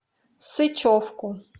сычевку